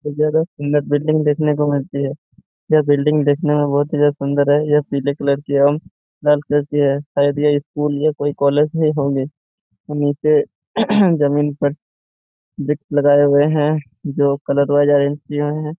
अरे ज्यादा सुंदर बिल्डिंग देखने को मिलते हैं या बिल्डिंग देखने में बहुत ही ज्यादा सुंदर है यह पीले कलर की है लाल कलर की है शायद यह स्कूल या कॉलेज होंगे है जमीन पर बिट लगाए हुए है जो कलर है।